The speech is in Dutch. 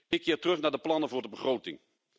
Ik keer terug naar de plannen voor de begroting.